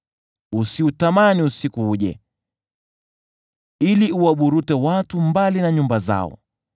Usiutamani usiku uje, ili uwaburute watu mbali na nyumba zao.